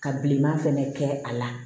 Ka bilenman fɛnɛ kɛ a la